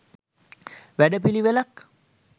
වැඩ පිළිවෙළක්